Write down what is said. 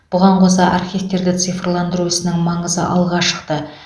бұған қоса архивтерді цифрландыру ісінің маңызы алға шықты